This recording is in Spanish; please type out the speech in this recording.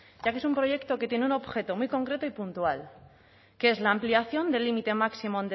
ya que es un proyecto que tiene un objeto muy concreto y punto que es la ampliación del límite máximo